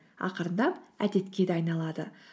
ақырындап әдетке де айналады